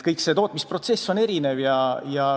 Tootmisprotsessid on erinevad.